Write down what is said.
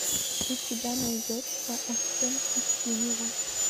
у тебя найдется оттенки синего